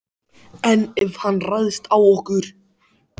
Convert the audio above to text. En ef hann ræðst á okkur?